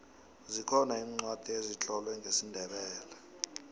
zikhona iincwadi ezitlolwe ngesindebele